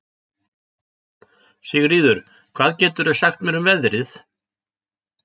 Sigríður, hvað geturðu sagt mér um veðrið?